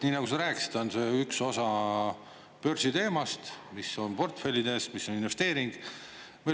Nii nagu sa rääkisid, on see üks osa börsi teemast, mis on portfellides, mis on investeering.